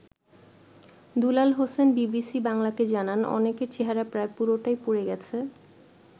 দুলাল Hossain BBC বাংলাকে জানান অনেকের চেহারা প্রায় পুরোটাই পুড়ে গেছে।